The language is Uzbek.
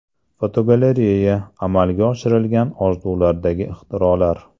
Fotogalereya: Amalga oshirilgan orzulardagi ixtirolar.